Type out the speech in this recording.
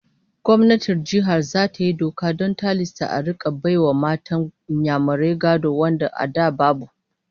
Gwamnatin Jihar zata yi doka don tilasta a rika bai wa matan Inyamurai gado wanda a da babu